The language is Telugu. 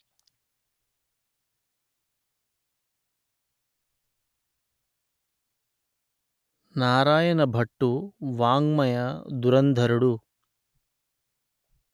నారాయణ భట్టు వాఙ్మయదురంధరుడు